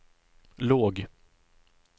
låg